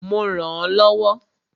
Mo rànán lọ́wọ́.